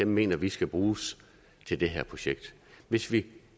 mener vi skal bruges til det her projekt hvis vi